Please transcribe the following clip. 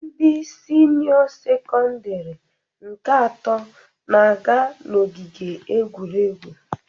Ndị sinịọ sekọndirị nke ato na-aga n'ogige egwuregwu.